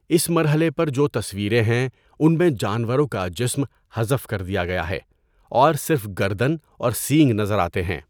اس مرحلے پر جو تصویریں ہیں ان میں جانورں کا جسم حذف کر دیا گیا ہے اور صرف گردن اور سینگ نظر آتے ہیں۔